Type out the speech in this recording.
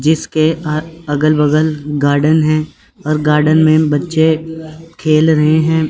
जिसके अगल बगल गार्डन है हर गार्डन में बच्चे खेल रहे हैं।